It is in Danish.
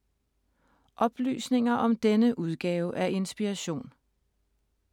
Oplysninger om denne udgave af Inspiration